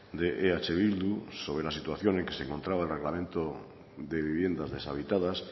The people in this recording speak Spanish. de eh bildu sobre la situación en que se encontraba el reglamento de viviendas deshabitadas